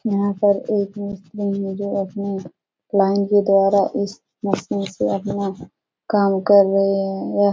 यहाँ पर एक मुस्लिम है जो अपने लाइन के द्वारा इस मशीन से अपना काम कर रहे हैं यह --